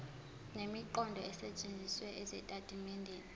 nemiqondo esetshenzisiwe ezitatimendeni